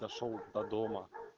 дошёл до дома